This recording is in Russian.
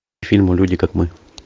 фильм люди как мы